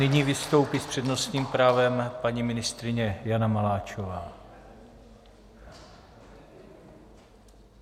Nyní vystoupí s přednostním právem paní ministryně Jana Maláčová.